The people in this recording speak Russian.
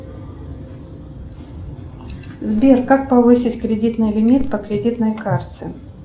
сбер как повысить кредитный лимит по кредитной карте